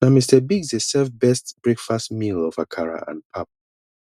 na mr biggs dey serve best breakfast meal of akara and pap